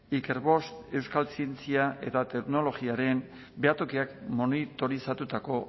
ikerboost euskal zientzia eta teknologiaren behatokiak monitorizatutako